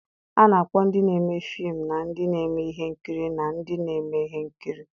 A na-akpọ ndị na-eme fim na ndị na-eme ihe nkiri na ndị na-eme ihe nkiri.